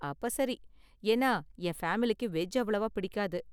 அப்ப சரி, ஏன்னா, என் ஃபேமிலிக்கு வெஜ் அவ்வளவா பிடிக்காது.